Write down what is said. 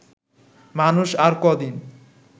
মানুষ আর কদিন